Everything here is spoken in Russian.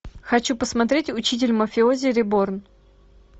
хочу посмотреть учитель мафиози реборн